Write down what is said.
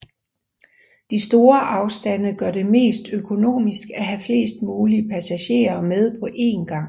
De store afstande gør det mest økonomisk at have flest mulige passagerer med på en gang